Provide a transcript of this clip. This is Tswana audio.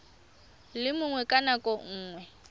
le mongwe ka nako nngwe